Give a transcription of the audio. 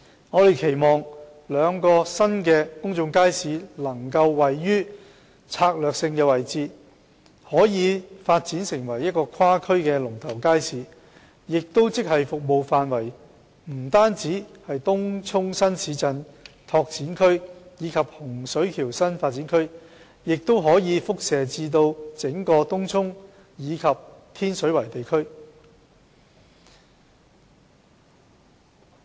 我們期望兩個新公眾街市能夠位於策略性位置，可以發展成為跨區的龍頭街市，即服務範圍不單是東涌新市鎮擴展區及洪水橋新發展區，而是延伸至整個東涌及天水圍地區。